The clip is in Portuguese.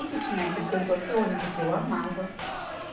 E que tinha ainda Canto Orfeônico, que eu amava.